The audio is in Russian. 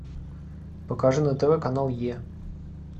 покажи на тв канал е